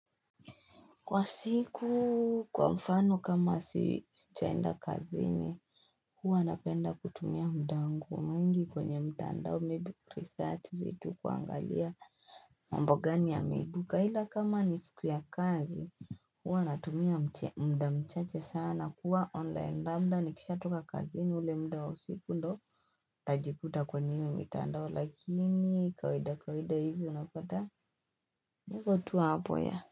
Kwa siku kwa mfano kama sichaenda kazini huwa napenda kutumia muda wangu mingi kwenye mtandao maybe kuresearch vitu kuangalia mambo gani yameibuka ila kama ni siku ya kazi huwa natumia muda mchache sana kuwa online labda nikisha toka kazini ule muda wa siku ndo Tajikuta kwenye mtandao lakini kawaida kawaida hivi unapata niko tu hapo ya.